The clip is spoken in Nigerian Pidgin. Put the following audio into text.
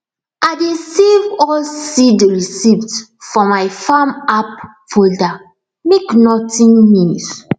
i dey save all seed receipt for my farm app folder make nothing miss